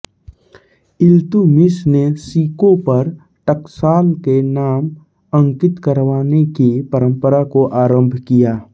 इल्तुतमिश ने सिक्कों पर टकसाल के नाम अंकित करवाने की परम्परा को आरम्भ किया